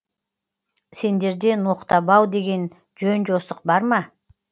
сендерде ноқтабау деген жөн жосық бар ма